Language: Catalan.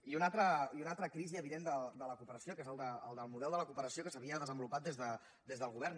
i una altra crisi evident de la cooperació que és el del model de la cooperació que s’havia desenvolupat des del govern